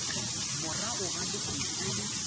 morago ga dikgwedi di le